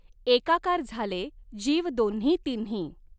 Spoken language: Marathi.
एकाकार झालॆ जीव दॊन्ही तिन्ही.